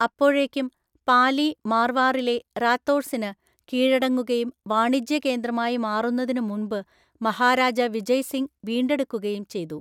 അപ്പോഴേക്കും, പാലി മാർവാറിലെ റാത്തോർസിന് കീഴടങ്ങുകയും വാണിജ്യ കേന്ദ്രമായി മാറുന്നതിന് മുമ്പ് മഹാരാജ വിജയ് സിംഗ് വീണ്ടെടുക്കുകയും ചെയ്തു.